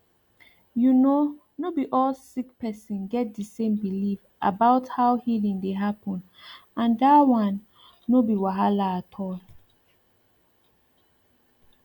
you know no be all sick person get the same belief about how healing dey happen and that one no be wahala at all